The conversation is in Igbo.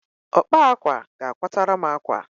Ọkpa àkwá ga-akwatara m àkwá!